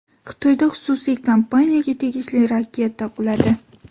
Xitoyda xususiy kompaniyaga tegishli raketa quladi.